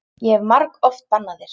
Ég hef margoft bannað þér.